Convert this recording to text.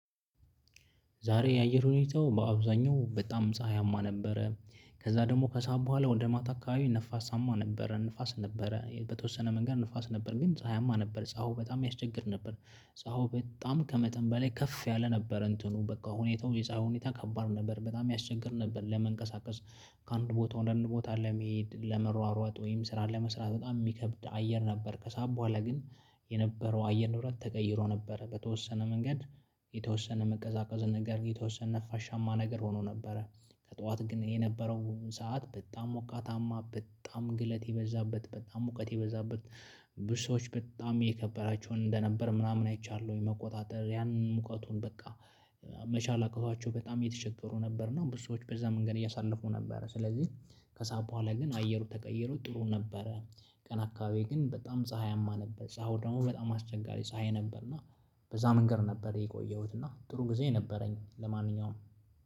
ዛሬ የአየር ሁኔታው በአብዛኛው በጣም ፀሀያማ ነበረ ከዛ ደግሞ ከሰአት በኋላ ወደ ማታ አካባቢ ነፋሳማ ነበረ። ንፋስ ነበረ በተወሰነ መንገድ ንፋስ ነበረ ግን ፀሀያማ ነበረ ፀሀዩ በጣም ያስቸግር ነበር። ፀሀው በጣም ከመጠን በላይ ከፍ ያለ ነበር እንትኑ በቃ ሁኔታው የፀሀይ ሁኔታ ከባድ ነበር በጣም ያስቸግር ነበር ለመንቀሳቀስ። ከአንድ ቦታ ወደ አንድ ቦታ ለመሄድ ለመሯሯጥ ወይም ስራ ለመስራት በጣም የሚከብድ አየር ነበር። ከሰአት በኋላ ግን የነበረው አየር ንብረት ተቀይሮ ነበረ በተወሰነ መንገድ። የተወሰነ መቀዛቀዘ ነገር የተወሰነ ነፋሻማ ነገር ሆኖ ነበረ። ከጠዋት ግን የነበረው ሰዓት በጣም ሞቃታማ በጣም ግለት የበዛበት በጣም ሙቀት የበዛበት። ብዙ ሰዎች በጣም የከበዳቸውን እንደነበር ምናምን አይቻለሁ ወይ? መቆጣጠር ያንን ሙቀቱን በቃ መቻል አቅቷቸው በጣም የተቸገሩ ነበር። እና ብዙ ሰዎች በዛ መንገድ እያሳለፉ ነበር። ስለዚህ ከሰአት በኋላ ግን አየሩ ተቀይሮ ጥሩ ነበረ። ቀን አካባቢ ግን በጣም ፀሀይማ ነበር ፀሀዩ ደግሞ በጣም አስቸጋሪ ፀሀይ ነበርና። በዛ መንገድ ነበር የቆየሁትና ጥሩ ጊዜ ነበረኝ ለማንኛውም።